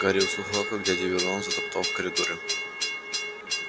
гарри услыхал как дядя вернон затопал в коридоре